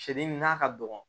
Siyɛdennin n'a ka dɔgɔ